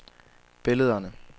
billederne